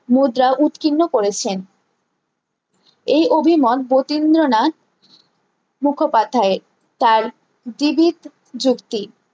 মুদ্রা উৎকীর্ণ করেছেন এই অভিমত গোতিন্দ্রনাথ মুখোপাধ্যায় এর তার জীবিক যুক্তি